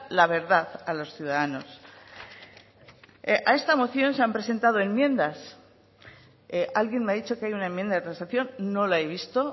la verdad a los ciudadanos a esta moción se han presentado enmiendas alguien me ha dicho que hay una enmienda de transacción no la he visto